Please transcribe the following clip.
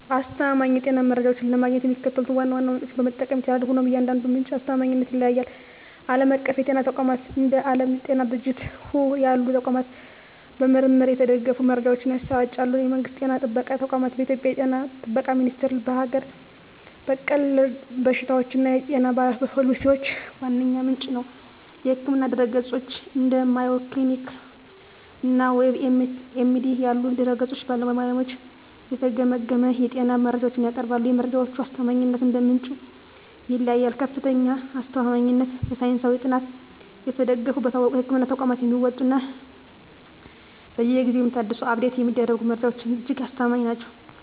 አስተማማኝ የጤና መረጃዎችን ለማግኘት የሚከተሉትን ዋና ዋና ምንጮች መጠቀም ይቻላል፤ ሆኖም የእያንዳንዱ ምንጭ አስተማማኝነት ይለያያል። ዓለም አቀፍ የጤና ተቋማት፦ እንደ ዓለም የጤና ድርጅት (WHO) ያሉ ተቋማት በምርምር የተደገፉ መረጃዎችን ያሰራጫሉ። የመንግስት ጤና ጥበቃ ተቋማት፦ በኢትዮጵያ የ ጤና ጥበቃ ሚኒስቴር ለሀገር በቀል በሽታዎችና የጤና ፖሊሲዎች ዋነኛ ምንጭ ነው። የሕክምና ድረ-ገጾች፦ እንደ Mayo Clinic እና WebMD ያሉ ድረ-ገጾች በባለሙያዎች የተገመገሙ የጤና መረጃዎችን ያቀርባሉ። የመረጃዎቹ አስተማማኝነት እንደ ምንጩ ይለያያል፦ ከፍተኛ አስተማማኝነት፦ በሳይንሳዊ ጥናት የተደገፉ፣ በታወቁ የሕክምና ተቋማት የሚወጡ እና በየጊዜው የሚታደሱ (Update የሚደረጉ) መረጃዎች እጅግ አስተማማኝ ናቸው።